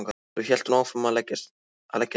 Svo hélt hún áfram að leggja niður.